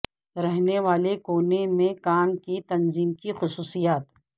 رہنے والے کونے میں کام کی تنظیم کی خصوصیات